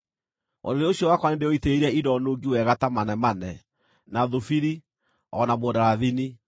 Ũrĩrĩ ũcio wakwa nĩndĩũitĩrĩirie indo nungi wega ta manemane, na thubiri, o na mũndarathini.